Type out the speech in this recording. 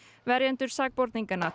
verjendur sakborninganna